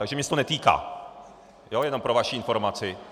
Takže mne se to netýká, jenom pro vaši informaci.